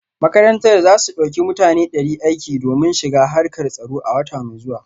Makarantar za ta dauki mutane dari aiki domin shiga harkar tsaro a wata mai zuwa